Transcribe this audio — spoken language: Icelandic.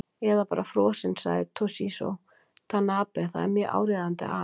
Eða bara frosinn, sagði Toshizo Tanabe, það er mjög áríðandi að.